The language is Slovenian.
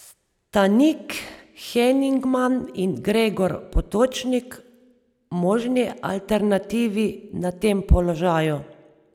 Sta Nik Henigman in Gregor Potočnik možni alternativi na tem položaju?